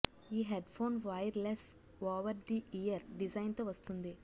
ఈ headphone wireless over the ear design తో వస్తుంది